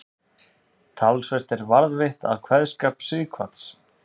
Talsvert er varðveitt af kveðskap Sighvats.